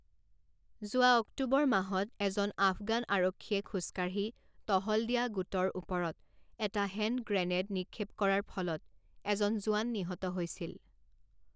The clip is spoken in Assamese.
যোৱা অক্টোবৰ মাহত এজন আফগান আৰক্ষীয়ে খোজকাঢ়ি টহল দিয়া গোটৰ ওপৰত এটা হেণ্ড গ্ৰেনেড নিক্ষেপ কৰাৰ ফলত এজন জোৱান নিহত হৈছিল।